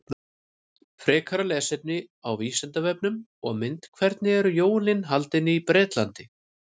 Frekara lesefni á Vísindavefnum og mynd Hvernig eru jólin haldin í Bretlandi?